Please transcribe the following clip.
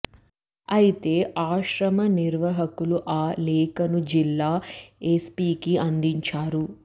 అయితే ఆశ్రమ నిర్వాహకులు ఆ లేఖను జిల్లా ఎస్పీకి అందించారు